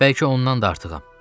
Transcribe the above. Bəlkə ondan da artığam.